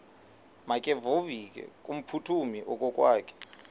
makevovike kumphuthumi okokwakhe